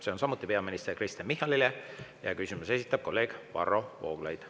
See on samuti peaminister Kristen Michalile ja küsimuse esitab kolleeg Varro Vooglaid.